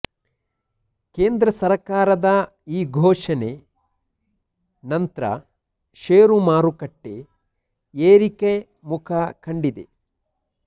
ಕೇಂದ್ರ ಸರ್ಕಾರದ ಈ ಘೋಷಣೆ ನಂತ್ರ ಷೇರು ಮಾರುಕಟ್ಟೆ ಏರಿಕೆ ಮುಖ ಕಂಡಿದೆ